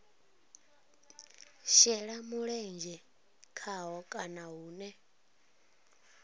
shela mulenzhe khaho kana hune